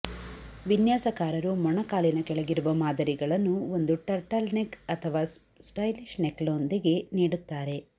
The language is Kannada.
ವಿನ್ಯಾಸಕಾರರು ಮೊಣಕಾಲಿನ ಕೆಳಗಿರುವ ಮಾದರಿಗಳನ್ನು ಒಂದು ಟರ್ಟಲ್ನೆಕ್ ಅಥವಾ ಸ್ಟೈಲಿಶ್ ನೆಕ್ಲೈನ್ನೊಂದಿಗೆ ನೀಡುತ್ತಾರೆ